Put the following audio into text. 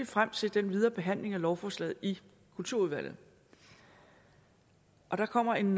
frem til den videre behandling af lovforslaget i kulturudvalget der kommer en